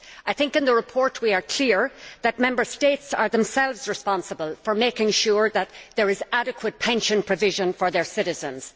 I think in the report, we are clear that Member States are themselves responsible for making sure that there is adequate pension provision for their citizens.